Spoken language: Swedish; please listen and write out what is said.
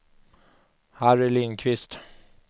Harry Lindkvist